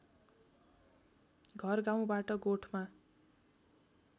घर गाउँबाट गोठमा